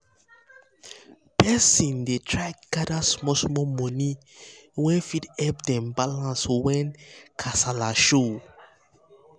person dey try gather small small money wey fit help dem balance when when kasala show.